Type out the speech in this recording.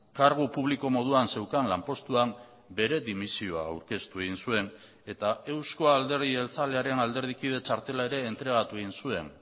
kargu publiko moduan zeukan lanpostuan bere dimisioa aurkeztu egin zuen eta euzko alderdi jeltzalearen alderdikide txartela ere entregatu egin zuen